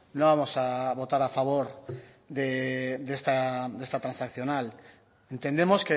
no vamos a votar a favor de esta transaccional entendemos